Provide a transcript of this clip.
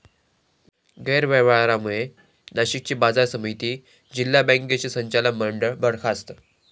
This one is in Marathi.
गैरव्यवहारांमुळे नाशिकची बाजारसमिती, जिल्हा बॅंकेचे संचालक मंडळ बरखास्त